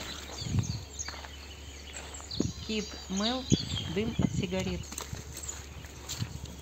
кид мелт дым от сигарет